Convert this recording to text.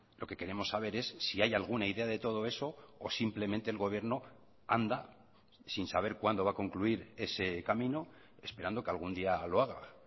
lo que queremos saber es si hay alguna idea de todo eso o simplemente el gobierno anda sin saber cuándo va a concluir ese camino esperando que algún día lo haga